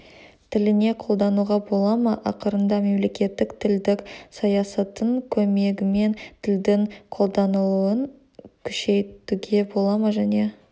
тіліне қолдануға бола ма ақырында мемлекеттік тілдік саясаттың көмегімен тілдің қолданылуын күшейтуге бола ма және